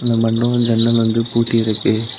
இந்த்மன்டபோ ஜன்னல் வந்து பூட்டி இருக்கு.